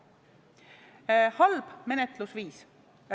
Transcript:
See on halb menetlusviis.